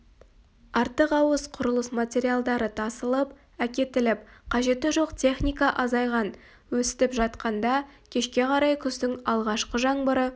артық-ауыс құрылыс материалдары тасылып әкетіліп қажеті жоқ техника азайған өстіп жатқанда кешке қарай күздің алғашқы жаңбыры